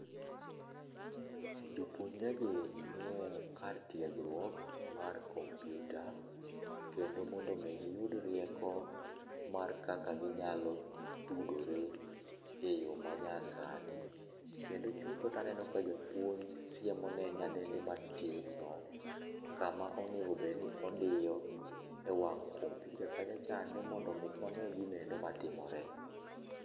Jopuonjre gi nie kar tiegruok mar komputa kendo mondo gi giyud rieko mar kaka ginyalo tudore e yoo ma nya sani, kendo chutho taneno ka japuonj siemo ne nyadendi matin no kama onego bed ni odiyo ewang' komputa kacha chande mondo mi one gino endo matimore.